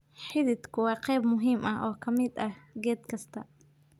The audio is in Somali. Xididku waa qayb muhiim ah oo ka mid ah geed kasta.